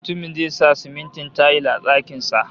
Mutumin zai sa simintin tayil a dakin sa